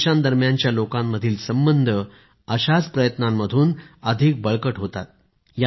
दोन्ही देशांदरम्यान लोकांमधील संबंध अशाच प्रयत्नांतून अधिक बळकट होतात